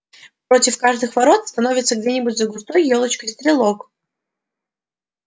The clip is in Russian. против каждых ворот становился где-нибудь за густой ёлочкой стрелок